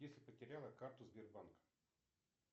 если потеряла карту сбербанк